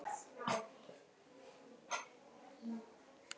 sem gildir við stofnun félags.